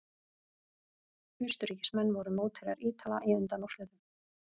Austurríkismenn voru mótherjar Ítala í undanúrslitum.